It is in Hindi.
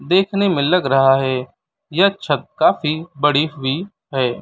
देखने में लग रहा है यह छत काफी बड़ी हुई है।